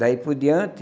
Daí por diante,